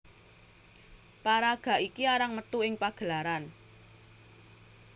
Paraga iki arang metu ing pagelaran